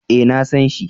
Eh, na san shi